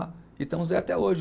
E estamos aí até hoje.